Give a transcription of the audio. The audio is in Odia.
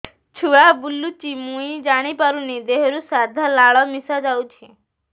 ଛୁଆ ବୁଲୁଚି ମୁଇ ଜାଣିପାରୁନି ଦେହରୁ ସାଧା ଲାଳ ମିଶା ଯାଉଚି